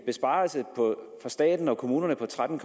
besparelser for staten og kommunerne på tretten